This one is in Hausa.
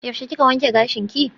Yaushe kika wanke gashinki?